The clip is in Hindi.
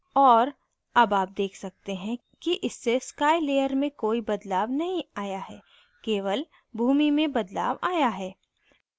और अब आप देख सकते हैं कि इससे sky layer में कोई बदलाव नहीं आया है केवल भूमि में बदलाव आया है